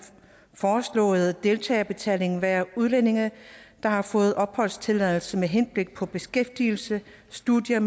foreslåede deltagerbetaling være udlændinge der har fået opholdstilladelse med henblik på beskæftigelse studier